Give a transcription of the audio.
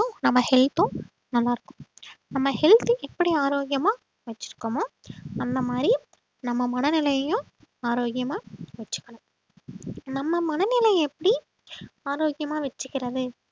நம்ம health உம் நல்லா இருக்கும் நம்ம health எப்படி ஆரோக்கியமா வச்சிருக்கோமோ அந்த மாதிரி நம்ம மனநிலையையும் ஆரோக்கியமா வச்சுக்கணும் நம்ம மனநிலையை எப்படி ஆரோக்கியமா வெச்சுக்கிறது